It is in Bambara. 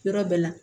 Yɔrɔ bɛɛ la